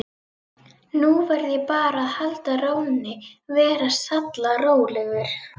Nú verð ég bara að halda rónni, vera sallarólegur.